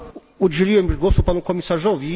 Udzieliłem już głosu panu komisarzowi.